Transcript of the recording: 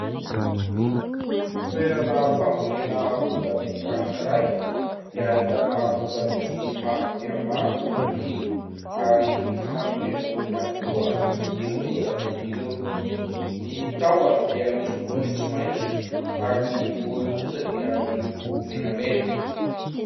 Toerana fambolena voatabia anankiray dia ahitana voatabia maro dia maro maniry ary efa manome voany avokoa ireo voatabia ireo, ny tahony dia miloko maitsomaitso ary ny voany kosa dia miloko menamena.